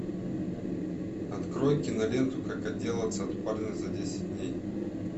открой киноленту как отделаться от парня за десять дней